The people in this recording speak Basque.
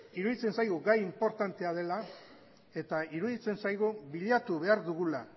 iruditzen zaigu gai inportantea dela eta iruditzen zaigu bilatu behar dugula